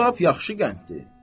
Bu lap yaxşı qənddir."